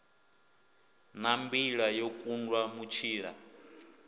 na mbila yo kundwa mutshila